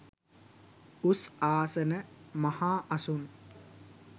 උස් ආසන, මහා අසුන්